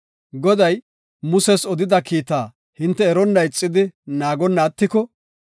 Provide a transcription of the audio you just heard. “Goday, Muses odida kiitaa hinte eronna ixidi naagonna attiko,